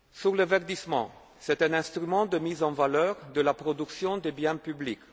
Le verdissement est un instrument de mise en valeur de la production des biens